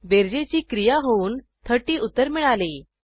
बेरजेची क्रिया होऊन 30 उत्तर मिळाले